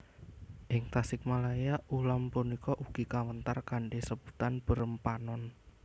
Ing Tasikmalaya ulam punika ugi kawéntar kanthi sebutan beureum panon